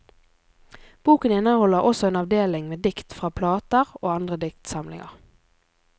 Boken inneholder også en avdeling med dikt fra plater og andre diktsamlinger.